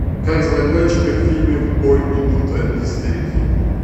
как звали летчиков в фильме в бой идут одни старики